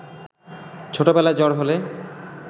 ছোটবেলায় জ্বর হলে